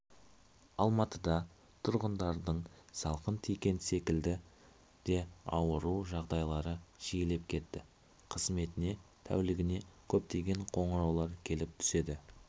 алматыда тұрғындардың салқын тиген секілді де ауыру жағдайлары жиілеп кетті қызметіне тәулігіне көптеген қоңыраулар келіп түседі